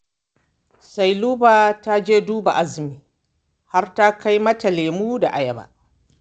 Sailuba ta je duba Azumi har ta kai mata lemo da ayaba